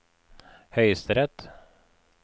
høyesterett